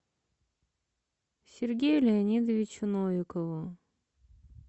сергею леонидовичу новикову